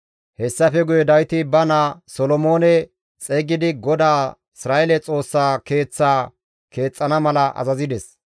Hessafe guye Dawiti ba naa Solomoone xeygidi GODAA Isra7eele Xoossa Keeththaa keexxana mala azazides.